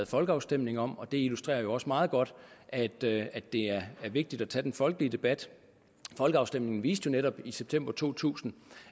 folkeafstemning om og det illustrerer jo også meget godt at det det er vigtigt at tage den folkelige debat folkeafstemningen viste jo netop i september to tusind